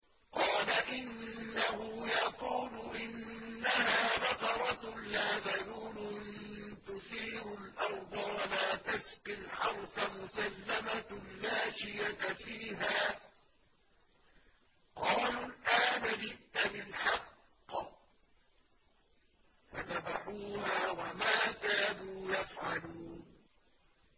قَالَ إِنَّهُ يَقُولُ إِنَّهَا بَقَرَةٌ لَّا ذَلُولٌ تُثِيرُ الْأَرْضَ وَلَا تَسْقِي الْحَرْثَ مُسَلَّمَةٌ لَّا شِيَةَ فِيهَا ۚ قَالُوا الْآنَ جِئْتَ بِالْحَقِّ ۚ فَذَبَحُوهَا وَمَا كَادُوا يَفْعَلُونَ